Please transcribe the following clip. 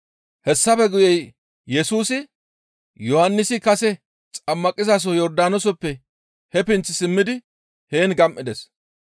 Hessafe guye Yesusi, Yohannisi kase xammaqizaso Yordaanooseppe he pinth simmidi heen gam7ides.